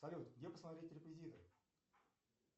салют где посмотреть реквизиты